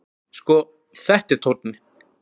Sko, þetta er tónninn!